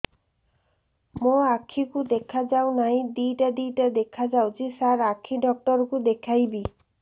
ମୋ ଆଖିକୁ ଦେଖା ଯାଉ ନାହିଁ ଦିଇଟା ଦିଇଟା ଦେଖା ଯାଉଛି ସାର୍ ଆଖି ଡକ୍ଟର କୁ ଦେଖାଇବି